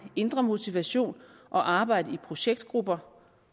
indre motivation og arbejdet i projektgrupper